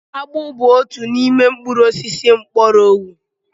Akpu bu otu n'ime mkpuru osisi mgbọrọgwụ